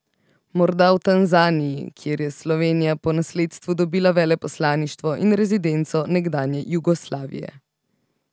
Morda v Tanzaniji, kjer je Slovenija po nasledstvu dobila veleposlaništvo in rezidenco nekdanje Jugoslavije.